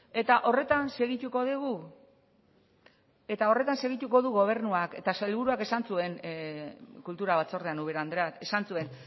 eta horretan segituko du gobernuak sailburuak esan zuen kultura batzordean ubera andrea esan zuen